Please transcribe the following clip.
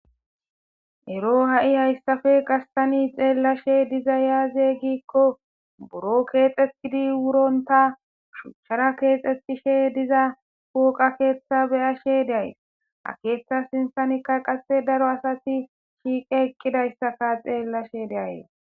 ero ha7i hayssafe gastani xeellashe diza yaaze gikko buro keexetidi wuronta shuchara keexxetishe diza kuuqa keeththa beyashe deays a keeththa sinsanikka qasse daro asati shiiqe ekkidayssaka xeellashe deayy